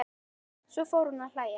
Svo fór hún að hlæja.